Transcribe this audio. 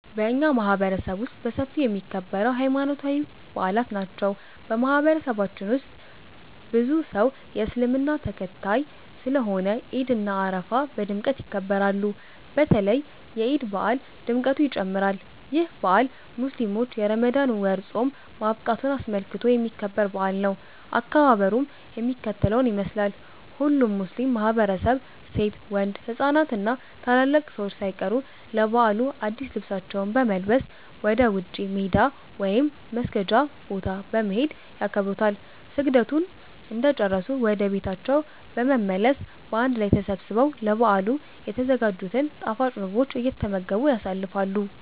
በኛ ማህበረሰብ ውስጥ በሰፊው የሚከበረው ሀይማኖታዊ በአላት ናቸው። በማህበረሰባችን ብዙ ሰው የእስልምና ተከታይ ስለሆነ ዒድ እና አረፋ በድምቀት ይከበራሉ። በተለይ የዒድ በአል ድምቀቱ ይጨምራል። ይህ በአል ሙስሊሞች የረመዳን ወር ፆም ማብቃቱን አስመልክቶ የሚከበር በአል ነው። አከባበሩም የሚከተለውን ይመስላል። ሁሉም ሙስሊም ማህበረሰብ ሴት፣ ወንድ፣ ህፃናት እና ታላላቅ ሰዎች ሳይቀሩ ለበዓሉ አድስ ልብሳቸውን በመልበስ ወደ ውጪ (ሜዳ) ወይም መስገጃ ቦታ በመሄድ ያከብሩታል። ስግደቱን እንደጨረሱ ወደ ቤታቸው በመመለስ በአንድ ላይ ተሰባስበው ለበዓሉ የተዘጋጅቱን ጣፋጭ ምግቦች እየተመገቡ ያሳልፋሉ።